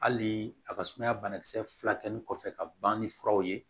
Hali a ka sumaya banakisɛ furakɛli kɔfɛ ka ban ni furaw ye